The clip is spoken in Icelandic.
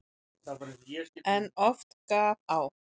En oft gaf á.